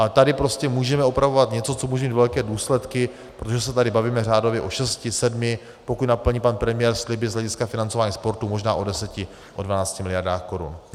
Ale tady prostě můžeme opravovat něco, co může mít velké důsledky, protože se tady bavíme řádově o šesti, sedmi, pokud naplní pan premiér sliby z hlediska financování sportu, možná o deseti, o dvanácti miliardách korun.